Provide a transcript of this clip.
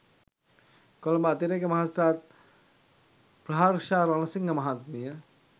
කොළඹ අතිරේක මහේස්ත්‍රාත් ප්‍රහර්ෂා රණසිංහ මහත්මිය